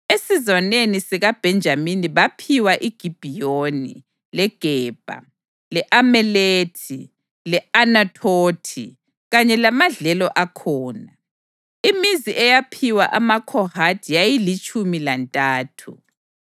Esizwaneni sikaBhenjamini baphiwa iGibhiyoni, leGebha, le-Alemethi le-Anathothi, kanye lamadlelo akhona. Imizi eyaphiwa amaKhohathi yayilitshumi lantathu.